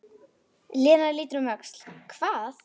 Lena lítur um öxl: Hvað?